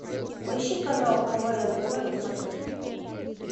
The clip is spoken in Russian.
поищи канал квн тв на смотрешке